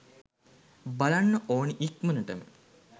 බලන්න ඕනි ඉක්මනටම.